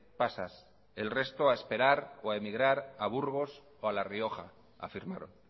pasas el resto a esperar o a emigrar a burgos o a la rioja afirmaron